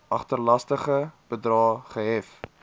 agterstallige bedrae gehef